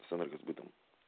с энергосбытом